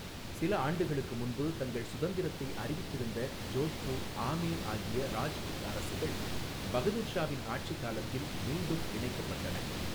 சில ஆண்டுகளுக்கு முன்பு தங்கள் சுதந்திரத்தை அறிவித்திருந்த ஜோத்பூர், ஆமேர் ஆகிய ராஜ்புத் அரசுகள், பகதூர் ஷாவின் ஆட்சி காலத்தில் மீண்டும் இணைக்கப்பட்டன.